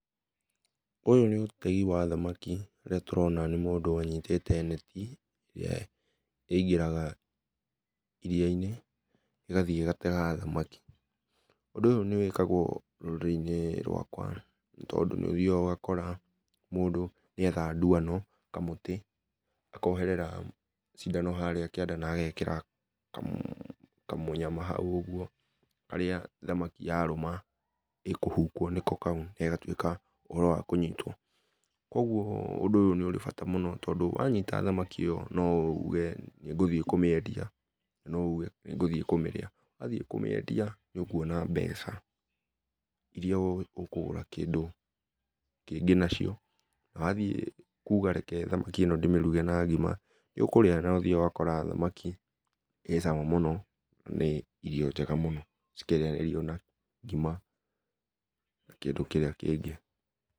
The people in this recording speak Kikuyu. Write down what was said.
Ũyũ nĩ ũtegĩ wa thamaki ũrĩa tũrona nĩ mũndũ anyĩtĩte netĩ ĩrĩa ĩngĩraga iria-inĩ ĩgathiĩ ĩgatega thamaki ,ũndũ ũyũ nĩ wĩkagwo rũrĩrĩ inĩ rwakwa nĩ tondũ nĩ ũthĩa ũgakora mũndũ nĩ etha dwano, kamũtĩ akoherera cindano harĩa kĩanda na egekĩra kamũnyama haũ ũgũo harĩa thamaki yarũma ĩ kũhũkwo nĩko kaũ na ĩgatũĩka nĩ ũhoro wa kũnyitwo. kũogũo ũndũ ũyũ nĩ ũrĩ bata mũno tondũ wanyĩta thamakĩ ĩyo no ũge ũgũthiĩ kũmĩendia na noũge nĩ ngũthiĩ kũmĩrĩa wathiĩ kũmĩendia nĩ ũkũona mbeca irĩa ũkũgũra kĩndũ kĩngĩ na cio wathiĩ kũga reke thamaki ĩno ndĩmĩrũge na ngima nĩũthĩaga ũgakora thamaki ĩ cama mũno na nĩ irio njega mũno cikĩrĩanĩrio na ngima na kindũ kirĩa kĩngĩ.